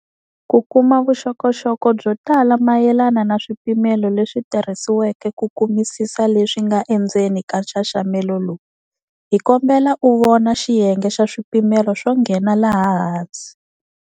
Ku kuma vuxokoxoko byo tala mayelana na swipimelo leswi tirhisiweke ku kumisisa leswi nga endzeni ka nxaxamelo lowu, hi kombela u vona xiyenge xa swipimelo swo nghena laha hansi.